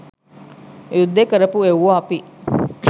යුද්ද කරපු එව්වෝ අපි